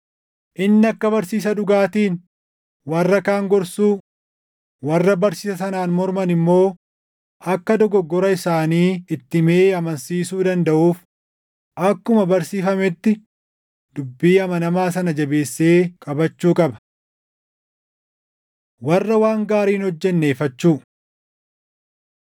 Inni akka barsiisa dhugaatiin warra kaan gorsuu, warra barsiisa sanaan morman immoo akka dogoggora isaanii itti himee amansiisuu dandaʼuuf akkuma barsiifametti dubbii amanamaa sana jabeessee qabachuu qaba. Warra Waan Gaarii Hin hojjenne Ifachuu